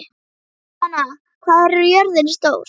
Stefana, hvað er jörðin stór?